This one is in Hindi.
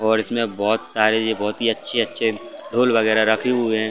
और इसमें बहोत सारे बहुत ही अच्छे-अच्छे ढोल वगैरा रखे हुए हैं।